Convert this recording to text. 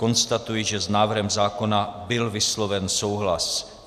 Konstatuji, že s návrhem zákona byl vysloven souhlas.